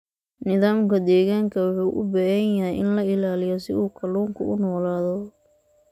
Nidaamka deegaanka wuxuu u baahan yahay in la ilaaliyo si uu kalluunka u noolaado.